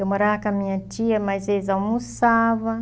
Eu morava com a minha tia, mas eles almoçava.